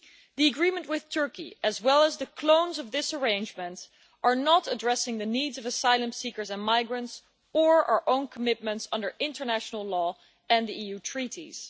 The agreement with Turkey as well as the clones of this arrangement are not addressing the needs of asylum seekers and migrants or our own commitments under international law and the EU treaties.